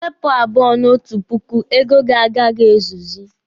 Ị wepụ abụọ na otu puku, ego gị agaghị ezuzi.